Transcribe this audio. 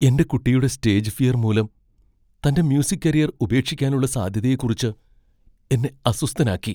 എന്റെ കുട്ടിയുടെ stage fear മൂലം തന്റെ മ്യൂസിക് കരിയർ ഉപേക്ഷിക്കാനുള്ള സാധ്യതയെക്കുറിച്ച് എന്നെ അസ്വസ്ഥനാക്കി.